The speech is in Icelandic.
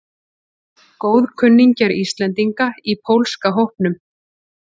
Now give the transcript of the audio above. Góðkunningjar Íslendinga í pólska hópnum